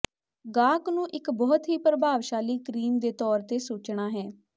ਗਾਹਕ ਨੂੰ ਇੱਕ ਬਹੁਤ ਹੀ ਪ੍ਰਭਾਵਸ਼ਾਲੀ ਕਰੀਮ ਦੇ ਤੌਰ ਤੇ ਸੋਚਣਾ ਹੈ